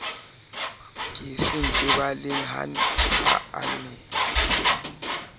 ke sentebaleng ha a ne